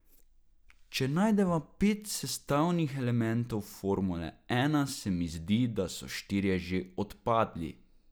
Če najdeva pet sestavnih elementov formule ena, se mi zdi, da so štirje že odpadli.